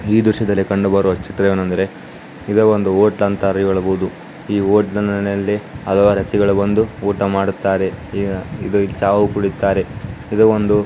ಈ ದ್ರಶ್ಯದಲ್ಲಿ ಕಂಡುಬರುವ ಚಿತ್ರವೇನೆಂದರೆ ಇದನ್ನು ಒಂದು ಹೋಟ್ಲು ಅಂತಾರು ಹೇಳಬಹುದು ಈ ಹೋಟೆಲ್ ನೆಲ್ಲಿ ಹಲವಾರು ವ್ಯಕ್ತಿಗಳು ಬಂದು ಊಟ ಮಾಡುತ್ತಾರೆ ಈಗ ಇದರಲ್ಲಿ ಚಾವು ಕುಡಿಯುತ್ತಾರೆ. ಇದು ಒಂದು --